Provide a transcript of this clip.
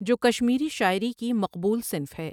جو کشمیری شاعری کی مقبول صنف ہے ۔